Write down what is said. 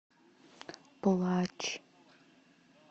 плач